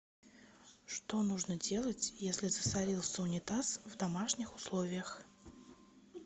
что нужно делать если засорился унитаз в домашних условиях